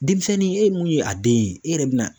Denmisɛnnin e ye mun ye a den ye e yɛrɛ bɛ na